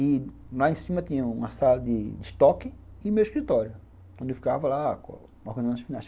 E lá em cima tinha uma sala de estoque e meu escritório, onde eu ficava lá